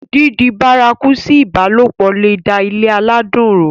dídi bárakú sí ìbálòpọ̀ le è da ilé aládùn rú